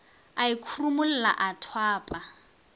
a e khurumolla a thwapa